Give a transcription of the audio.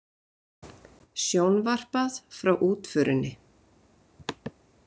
Sjónvarpað frá útförinni